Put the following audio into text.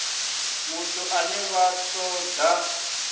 muthu ane vha ṱo ḓa